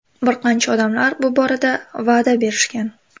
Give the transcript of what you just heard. Bir qancha odamlar bu borada va’da berishgan.